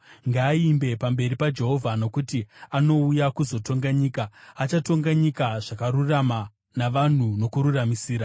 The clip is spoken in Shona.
ngaaimbe pamberi paJehovha, nokuti anouya kuzotonga nyika. Achatonga nyika zvakarurama navanhu nokururamisira.